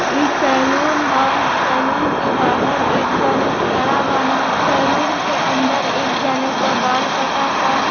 इ सेलून ह सेलून के बाहर एक जने खड़ा बान। के अन्दर एक जना क बाल कटा त।